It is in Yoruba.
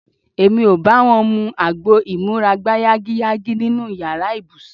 Èmi ò bá wọn mu agbo ìmúra-gbáyágiyágí nínú yàrá ibùsùn.